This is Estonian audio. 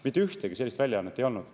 Mitte ühtegi sellist väljaannet ei olnud.